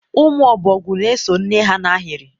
ụmụ ọbọgwu na-eso nne ha n'ahịrị.